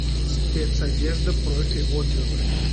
спецодежда профи отзывы